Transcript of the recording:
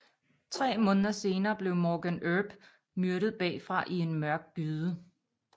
Tre måneder senere blev Morgan Earp myrdet bagfra i en mørk gyde